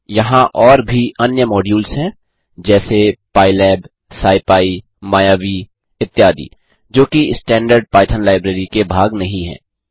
यहाँ और भी अन्य मॉड्यूल्स हैं जैसे पाइलैब स्किपी मायावी इत्यादि जोकि कि स्टैंडर्ड पाइथन लाईब्रेरी के भाग नहीं हैं